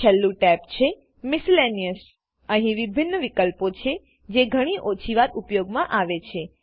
છેલ્લું ટેબ છે Miscellaneousઅહી વિભિન્ન વિકલ્પો છેજે ઘણી ઓછી વાર ઉપયોગમા આવે છે